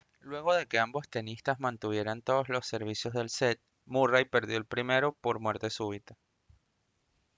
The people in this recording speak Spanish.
luego de que ambos tenistas mantuvieran todos los servicios del set murray perdió el primero por muerte súbita